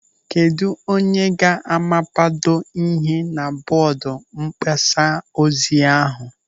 Kedụ onye ga-amapado ihe na bọọdụ mgbasa ozi ahụ?